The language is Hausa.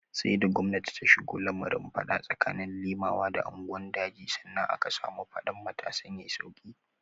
Sai da gwamnati ta shigo lamarin fada tsakanin Limawa da unguwan daji, sannan aka samu faɗan matasan ya yi sauki.